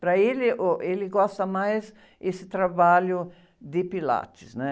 Para ele, oh, ele gosta mais esse trabalho de Pilates.